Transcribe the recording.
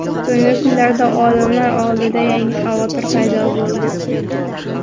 So‘nggi kunlarda olimlar oldida yangi xavotir paydo bo‘ldi.